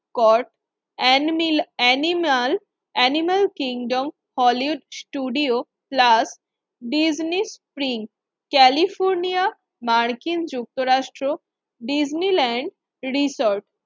কর animal animal animal kingdom Hollywood studio plus Disney spring California মার্কিন যুক্তরাষ্ট্র Disneyland resort.